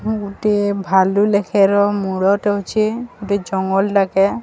ମୁଁ ଗୋଟିଏ ଭାଲୁ ଲେଖେର ମୂଳ ଟେ ଅଛି ଗୋଟେ ଜଙ୍ଗଲ ଡାକେ।